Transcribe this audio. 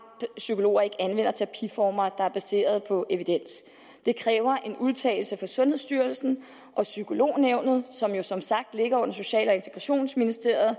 psykologer ikke anvender terapiformer der er baseret på evidens det kræver en udtalelse fra sundhedsstyrelsen og psykolognævnet som jo som sagt ligger under social og integrationsministeriet og